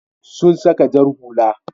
Sun saka wata jar hula.